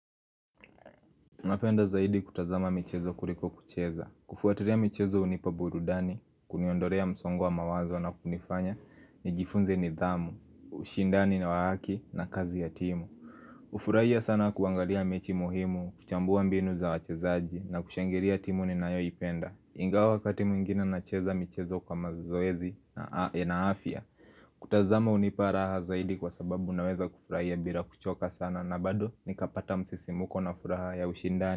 Napenda zaidi kutazama michezo kuliko kucheza kufuatilia michezo hunipa burudani, kuniondolea msongo wa mawazo na kunifanya nijifunze nidhamu, ushindani na wa haki na kazi ya timu ufurahia sana kuangalia mechi muhimu, kuchambua mbinu za wachezaji na kushangiria timu ni nayo ipenda Ingawa wakati mwingine nacheza michezo kwa mazoezi na afia kutazama hunipa raha zaidi kwa sababu unaweza kufurahia bila kuchoka sana na bado nikapata msisimuko na furaha ya ushindani.